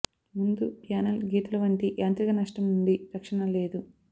ముందు ప్యానెల్ గీతలు వంటి యాంత్రిక నష్టం నుండి రక్షణ లేదు